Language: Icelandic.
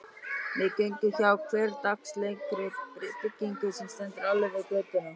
Við göngum hjá hversdagslegri byggingu sem stendur alveg við götuna.